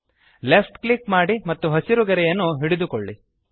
left click ಮಾಡಿ ಮತ್ತು ಹಸಿರು ಗೆರೆಯನ್ನು ಹಿಡಿದುಕೊಳ್ಳಿ